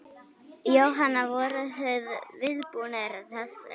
Jóhann: Voruð þið viðbúnir þessu?